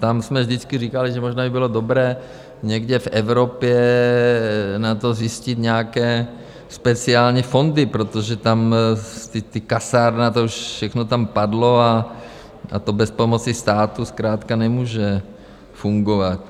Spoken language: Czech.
Tam jsme vždycky říkali, že možná by bylo dobré někde v Evropě na to zajistit nějaké speciální fondy, protože tam ta kasárna, to už všechno tam padlo a to bez pomoci státu zkrátka nemůže fungovat.